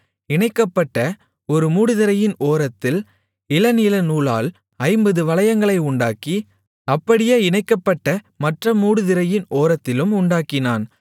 இணைக்கப்பட்ட ஒரு மூடுதிரையின் ஓரத்தில் இளநீலநூலால் ஐம்பது வளையங்களை உண்டாக்கி அப்படியே இணைக்கப்பட்ட மற்ற மூடுதிரையின் ஓரத்திலும் உண்டாக்கினான்